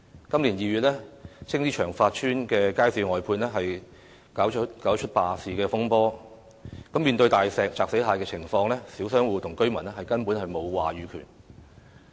今年2月，青衣長發邨街市外判便搞出罷市風波，面對"大石砸死蟹"的情況，小商戶與居民根本沒有話語權。